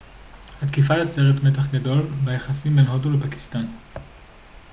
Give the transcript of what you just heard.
התקיפה יוצרת מתח גדול ביחסים בין הודו לפקיסטן